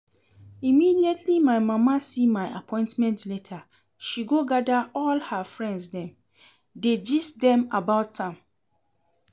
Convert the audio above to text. Immediately my mama see my appointment letter she go gather all her friends dem dey gist dem about am